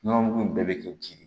Nɔnɔmugu in bɛɛ bɛ k'i ji de